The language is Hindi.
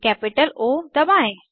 कैपिटल ओ दबाएं